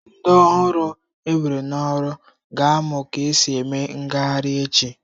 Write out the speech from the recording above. Ndị ọhụrụ ewere n'ọrụ ga-amụ ka e si eme ngagharị echi.